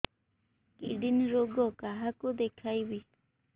kidney ରୋଗ କାହାକୁ ଦେଖେଇବି